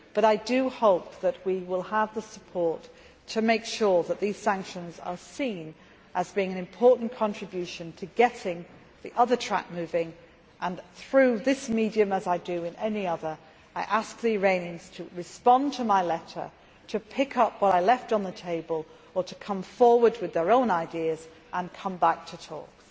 works. I do hope that we will have the support to make sure that these sanctions are seen as being an important contribution to getting the other track moving and through that medium, as I do in any other, I am asking the Iranians to respond to my letter, to pick up what I left on the table or to come forward with their own ideas and come back to the talks.